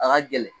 A ka gɛlɛn